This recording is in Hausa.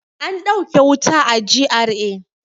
An dauke wuta a GRA.